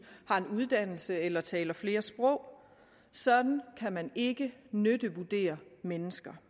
har en uddannelse eller taler flere sprog sådan kan man ikke nyttevurdere mennesker